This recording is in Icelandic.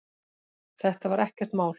Þetta var ekkert mál.